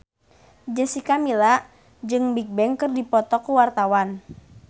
Jessica Milla jeung Bigbang keur dipoto ku wartawan